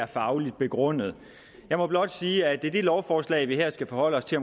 fagligt begrundet jeg må blot sige at det lovforslag vi her skal forholde os til